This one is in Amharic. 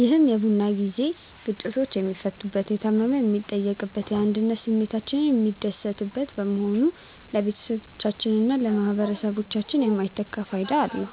ይህ የቡና ጊዜ ግጭቶች የሚፈቱበት፣ የታመመ የሚጠየቅበትና የአንድነት ስሜታችን የሚታደስበት በመሆኑ ለቤተሰባችንና ለማኅበረሰባችን የማይተካ ፋይዳ አለው።